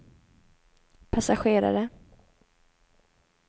passagerare